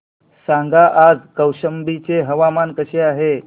सांगा आज कौशंबी चे हवामान कसे आहे